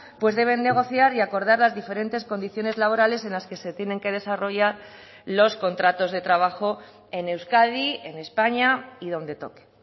pues deben negociar y acordar las diferentes condiciones laborales en las que se tienen que desarrollar los contratos de trabajo en euskadi en españa y donde toque